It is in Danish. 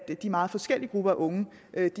de meget forskellige grupper af unge